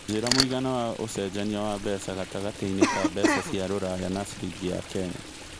njĩra mũigana wa ũcenjanĩa mbeca gatagatĩ-inĩ ka mbeca cia rũraya na ciringi ya Kenya